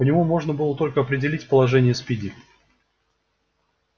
по нему можно было только определить положение спиди